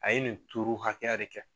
A ye nin hakɛya de kɛ